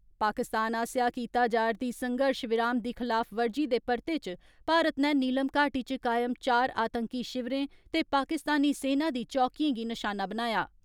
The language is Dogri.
पाकिस्तान आस्सेया कीता जा रदी संघर्ष विराम दी खिलाफवर्जी दे परते च भारत नै नीलम घाटी च कायम चार आतंकी शिविरें ते पाकिस्तानी सेना दी चौकियें गी नशाना बनाया।